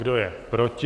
Kdo je proti?